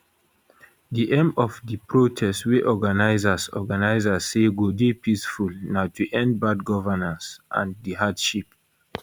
di aim of di protest wey organisers organisers say go dey peaceful na to end bad governance and di hardship